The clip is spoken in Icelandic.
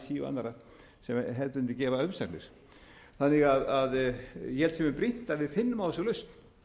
annarra sem hefðbundið gefa umsagnir ég held að það sé mjög brýnt að við finnum á þessu lausn